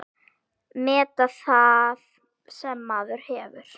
Meta það sem maður hefur.